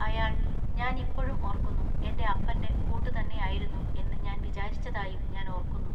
അയാൾ, ഞാൻ ഇപ്പോഴും ഓർക്കുന്നു എന്റെ അപ്പന്റെ കൂട്ടു തന്നെയിരുന്നു എന്നു ഞാൻ വിചാരിച്ചതായും ഞാൻ ഓർക്കുന്നു.